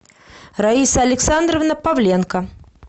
раиса александровна павленко